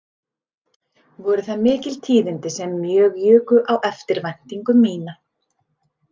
Voru það mikil tíðindi sem mjög juku á eftirvæntingu mína